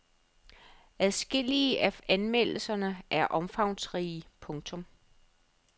Adskillige af anmeldelserne er omfangsrige. punktum